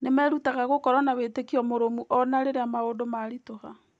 Nĩ merutaga gũkorwo na wĩtĩkio mũrũmu o na rĩrĩa maũndũ maritũha.